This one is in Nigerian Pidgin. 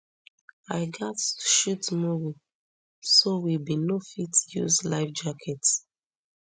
i gatz shoot movie so we bin no fit use lifejackets